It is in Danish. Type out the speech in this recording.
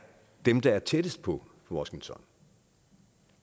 det land der er tættest på washington